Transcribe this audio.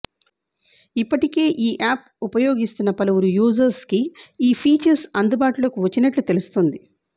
ఇప్పటికే ఈ యాప్ ఉపయోగిస్తున్న పలువురు యూజర్స్కి ఈ ఫీచర్స్ అందుబాటులోకి వచ్చినట్లు తెలుస్తోంది